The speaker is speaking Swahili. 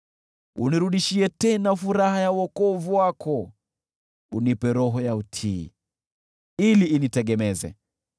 Unirudishie tena furaha ya wokovu wako, unipe roho ya utii, ili initegemeze.